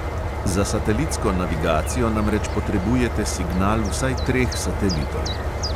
Za satelitsko navigacijo namreč potrebujete signal vsaj treh satelitov.